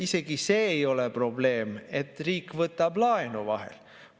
Isegi see ei ole probleem, et riik võtab laenu vahel.